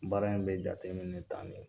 Baara in bɛ jateminɛ tan de